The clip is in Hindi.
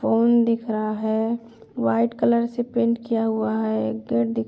फोन दिख रहा है | वाइट कलर से पेंट किया हुआ है। एक गेट दिख --